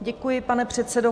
Děkuji, pane předsedo.